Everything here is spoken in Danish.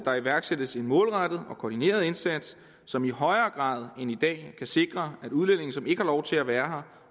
at iværksætte en målrettet og koordineret indsats som i højere grad end i dag kan sikre at udlændinge som ikke har lov til at være